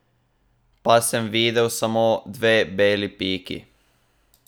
Pa sem videl samo dve beli piki.